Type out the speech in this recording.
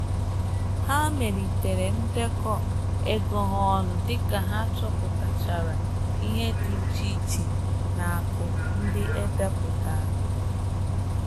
Ha melitere ndekọ ego ha ọnụ dịka ha chọpụtachara ihe dị iche na aku ndị edepụtara